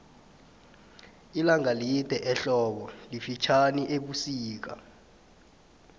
ilanga lide ehlobu lifitjhani ebusika